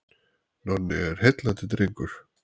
Nonni er heillandi drengur.